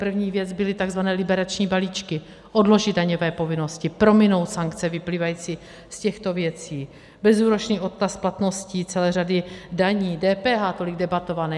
První věc byly tzv. liberační balíčky, odložit daňové povinnosti, prominout sankce vyplývající z těchto věcí, bezúročný odklad splatnosti celé řady daní, DPH tolik debatované.